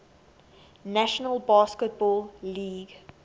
national basketball league